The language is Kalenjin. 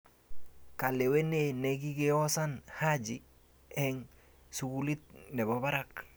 Kalewenee ne kikiosan Haji eng sukulit ne bo barak.